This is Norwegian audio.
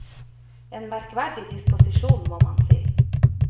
En merkverdig disposisjon, må man si.